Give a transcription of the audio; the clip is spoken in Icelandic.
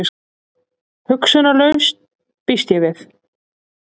Hugsunarlaus, býst ég við.